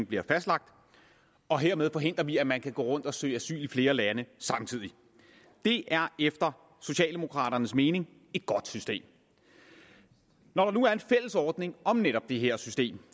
bliver fastlagt og hermed forhindrer vi at man kan gå rundt og søge asyl i flere lande samtidig det er efter socialdemokraternes mening et godt system når der nu er en fælles ordning om netop det her system